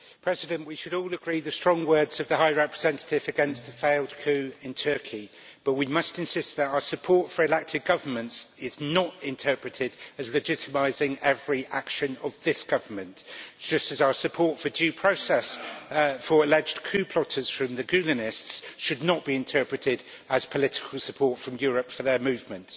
Mr President, we should all agree with the strong words of the High Representative against the failed coup in Turkey but we must insist that our support for elected governments is not interpreted as legitimising every action of this government, just as our support for due process for alleged coup plotters from the Gülenists should not be interpreted as political support from Europe for their movement.